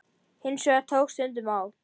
Hins vegar tók stundum á.